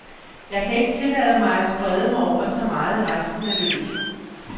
Jeg kan ikke tillade mig at sprede mig over så meget i resten af løbet.